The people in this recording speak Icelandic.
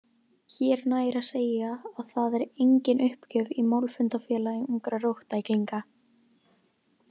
Hér nægir að segja að það er engin uppgjöf í Málfundafélagi úngra róttæklínga.